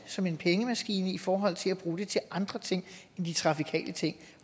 som en pengemaskine i forhold til at bruge det til andre ting end de trafikale ting